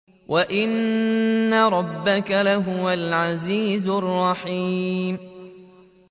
وَإِنَّ رَبَّكَ لَهُوَ الْعَزِيزُ الرَّحِيمُ